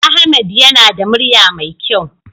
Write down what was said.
Ahmed yana da murya mai kyau.